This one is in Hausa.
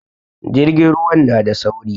Jirgin ruwan na da sauri